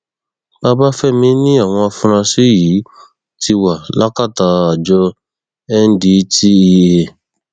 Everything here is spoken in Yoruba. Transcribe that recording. babafẹmi ni àwọn afurasí yìí ti wà lákàtà àjọ ndtea